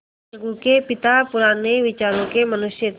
अलगू के पिता पुराने विचारों के मनुष्य थे